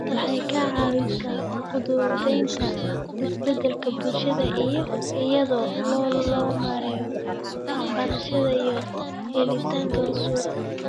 Waxay ka caawisaa fududaynta isbedelka bulshada iyada oo loo marayo waxbarashada iyo helitaanka suuqa.